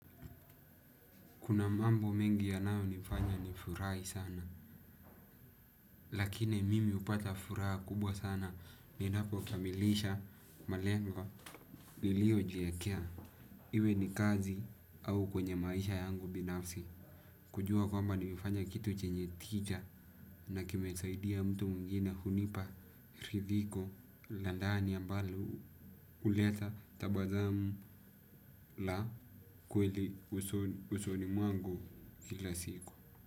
Kuna mambo mengi yanayo nifanya nifurahi sana. Lakini mimi hupata furaha kubwa sana. Ni napo kamilisha malengo nilio jiwekea. Iwe ni kazi au kwenye maisha yangu binafsi. Kujua kwamba nifanye kitu chenye tija na kimesaidia mtu mwingine hunipa ridhiko la ndani ambalo huleta tabasamu la kweli usoni mwangu kila siku.